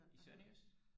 i sønderjysk